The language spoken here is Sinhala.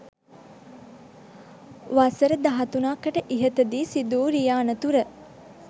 වසර දහතුනකට ඉහතදී සිදුවූ රිය අනතුර